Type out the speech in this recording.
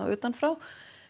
utan frá